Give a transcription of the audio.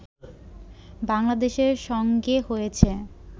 বাংলাদেশের সঙ্গে হয়েছে